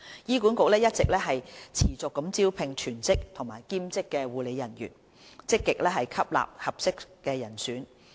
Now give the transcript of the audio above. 醫管局一直持續招聘全職和兼職護理人員，積極吸納合適人選。